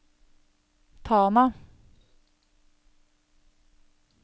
Tana